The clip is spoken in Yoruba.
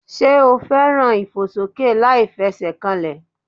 Sé o fẹ́ràn eré ìfòsókè láìfesèkanlè